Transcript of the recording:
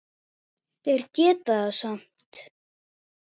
Þeir geta það samt.